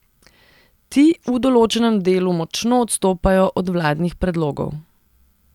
Ti v določenem delu močno odstopajo od vladnih predlogov.